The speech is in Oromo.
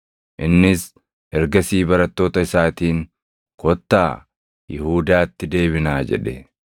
Innis ergasii barattoota isaatiin, “Kottaa Yihuudaatti deebinaa” jedhe.